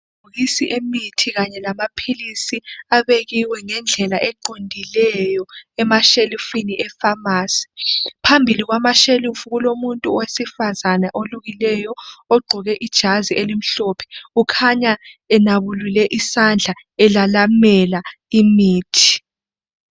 Amabhokisi emithi kanye lamaphilisi, abekiwe ngendlela eqondileyo emashelifini efamasi. Phambi kwamashelifi kulomuntu wesifazana olukileyo ogqoke ijazi elimhlophe, ukhanya enabulule isandla elalamela imithi.